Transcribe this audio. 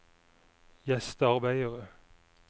gjestearbeidere